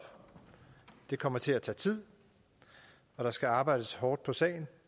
det kommer til at tage tid og der skal arbejdes hårdt på sagen